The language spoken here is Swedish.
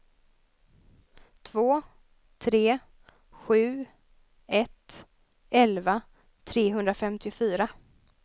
två tre sju ett elva trehundrafemtiofyra